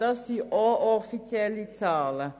Es sind ebenfalls offizielle Zahlen.